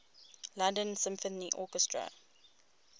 london symphony orchestra